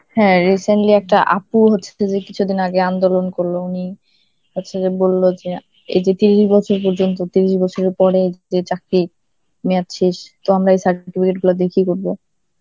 হ্যাঁ recently একটা আপুর হচ্ছে যে কিছুদিন আগে আন্দোলন করল, উনি হচ্ছে যে বলল যে এইযে তিরিশ বছর পর্যন্ত, তিরিশ বছরের পরে যে চাকরি মেয়াদ শেষ, তো আমরা এই certificate গুলা দিয়ে কি করব?